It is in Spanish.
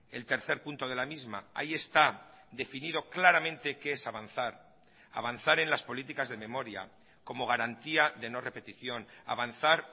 el tercer punto de la misma ahí está definido claramente qué es avanzar avanzar en las políticas de memoria como garantía de no repetición avanzar